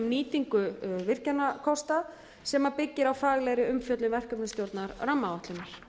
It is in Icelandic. nýtingu virkjunarkosta sem byggir á faglegri umfjöllun verkefnisstjórnar rammaáætlunar